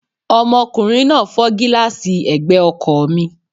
Ọmọkùnrin náà fọ́ gílààsì ẹ̀gbẹ́ ọkọ̀ mi